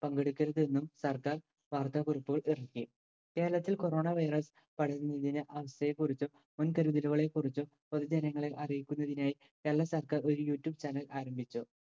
പങ്കെടുക്കരുത് എന്നും സർക്കാർ വാർത്താകുറിപ്പുകൾ ഇറക്കി. കേരളത്തിൽ corona virus പടരുന്നതിന്റെ അവസ്ഥയെ കുറിച്ചും മുൻകരുതലുകളെ കുറിച്ചും പൊതുജനങ്ങളെ അറിയിക്കുന്നതിനായി കേരള സർക്കാർ ഒരു youtube channel ആരംഭിച്ചു.